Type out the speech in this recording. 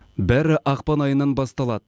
бәрі ақпан айынан басталады